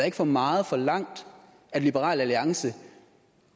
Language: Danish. ikke for meget forlangt at liberal alliance